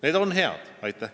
Need on head!